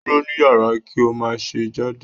Duro ni yara ki o ma ṣe jade